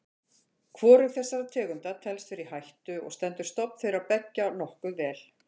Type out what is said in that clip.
Hvorug þessara tegunda telst vera í hættu og stendur stofn þeirra beggja nokkuð vel.